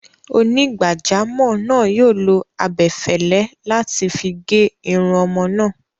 Onígbàjámọ̀ náà yóò lo abẹfẹ́lẹ́ láti figé irun ọmọ náà.